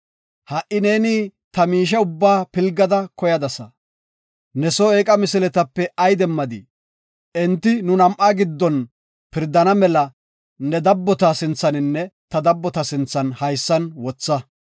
Ha7i neeni ta miishe ubba pilgada koyadasa. Ne soo eeqa misiletape ay demmadii? Enti nu nam7a giddon pirdana mela ne dabbota sinthaninne ta dabbota sinthan haysan wotha.